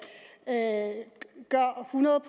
hundrede